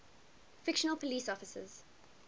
fictional police officers